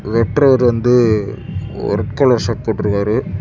வெட்றவர் வந்து red colour shirt போட்ருக்காரு.